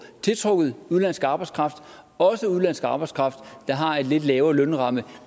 tiltrukket udenlandsk arbejdskraft også udenlandsk arbejdskraft der har en lidt lavere lønramme